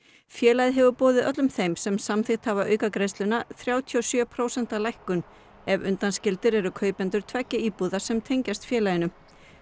félagið hefur boðið öllum þeim sem samþykkt hafa aukagreiðsluna þrjátíu og sjö prósenta lækkun ef undanskildir eru kaupendur tveggja íbúða sem tengjast félaginu